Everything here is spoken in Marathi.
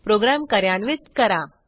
प्रोग्रॅम कार्यान्वित करा